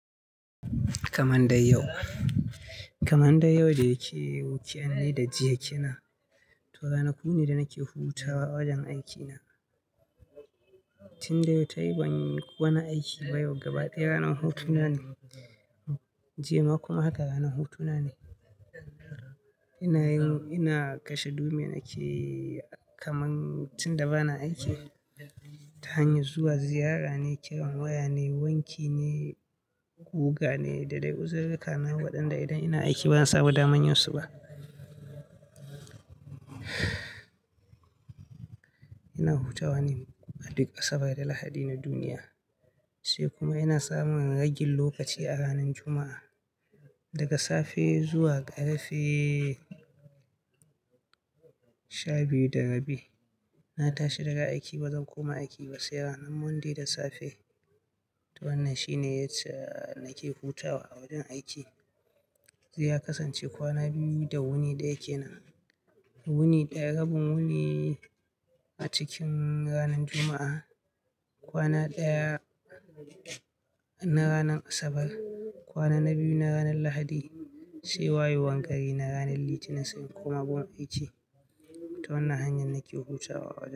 Kaman dai yau, kaman dai yau da yake yi, weekend ne da jiya ke nan. To ranaku ne da nake hutawa a wajen aikina. Tun da yau ta yi ban wani aiki ba yau gaba ɗaya ranar hutuna ne, jima' kuma haka ranar hutuna ne. Ina yin, ina kashe dumin ake kaman tun da ba na aiki. Ta hanyar zuwa ziyara ne, kiran waya ne, wanki ne, guga ne da dai uzirirrika na waɗanda idan ina aiki ba zan samu daman yinsu ba. Ina hutawa ne a duk Asabar da Lahadi na duniya, sai kuma ina samun ragin lokaci a ranar Juma'a daga safe zuwa ƙarfe sha biyu da rabi. Na tashi daga aiki ba zan koma aiki ba sai ranar Monday da safe. To wannan shi ne yacca nake hutawa a wajen aiki. Ya kasance kwana biyu da wuni da yake nan. Wuni ɗaya, rabin wuni a cikin ranar Juma'a, kwana ɗaya na ranar Asabar, kwana na biyu na ranar Lahadi sai wayewan gari na ranar Litinin sani kuma gun aiki. To wannan hanyar nake hutawa a wajen.